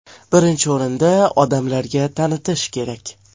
Birinchi o‘rinda odamlarga tanitish kerak.